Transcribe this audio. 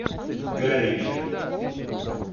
галича